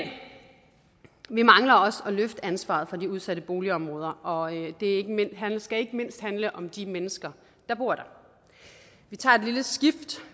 vi mangler også at løfte ansvaret for de udsatte boligområder og det skal ikke mindst handle om de mennesker der bor der vi tager et lille skift